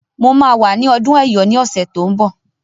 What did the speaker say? Mo máa wà ní ọdún Ẹ̀yọ̀ ní ọ̀sẹ̀ tó ń bọ̀.